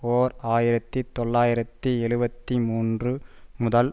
ஓர் ஆயிரத்தி தொள்ளாயிரத்தி எழுபத்தி மூன்று முதல்